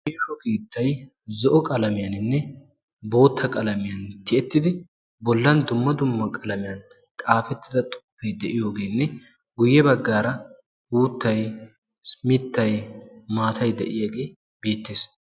meesho keettay zo7o qalamiyaaninne bootta qalamiyan tiyettidi bollan dumma dumma qalamiyan xaafettida xuppee de7iyoogeenne guyye baggaara uuttay mittay maatay de7iyaagee beettees.